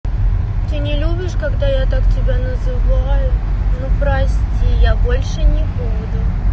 ты не любишь когда я так тебя называю ну прости я больше не буду